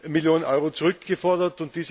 Millionen Euro zurückgefordert.